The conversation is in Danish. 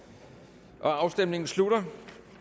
der afstemningen slutter